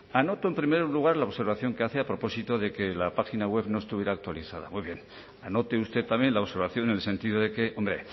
anoto en primer lugar la observación que hace a propósito de que la página web no estuviera actualizada muy bien anote usted también la observación en el sentido de que hombre